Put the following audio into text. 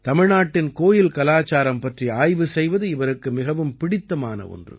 தமிழ்நாட்டின் கோயில் கலாச்சாரம் பற்றி ஆய்வு செய்வது இவருக்கு மிகவும் பிடித்தமான ஒன்று